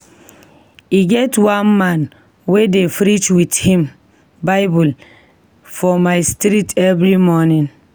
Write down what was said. E get one man wey dey preach wit him Bible for my street every morning.